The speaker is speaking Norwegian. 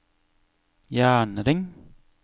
jernring